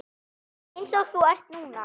Einsog þú ert núna.